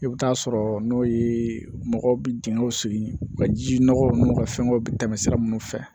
I bɛ taa sɔrɔ n'o ye mɔgɔw bɛ dingɛw segin u ka ji nɔgɔ minnu ka fɛngɛw bɛ tɛmɛ sira minnu fɛ